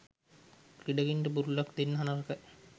ක්‍රීඩකයන්ට බුරුලක් දෙන්න නරකයි.